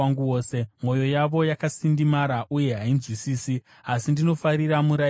Mwoyo yavo yakasindimara uye hainzwisisi, asi ndinofarira murayiro wenyu.